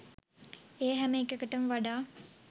ඒ හැම එකකටම වඩා